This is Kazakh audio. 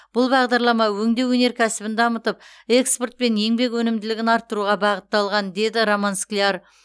бұл бағдарлама өңдеу өнеркәсібін дамытып экспорт пен еңбек өнімділігін арттыруға бағытталған деді роман скляр